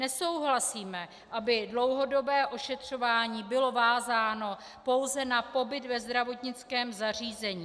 Nesouhlasíme, aby dlouhodobé ošetřování bylo vázáno pouze na pobyt ve zdravotnickém zařízení.